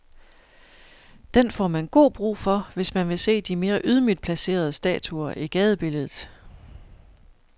Den får man god brug for, hvis man vil se de mere ydmygt placerede statuer i gadebilledet.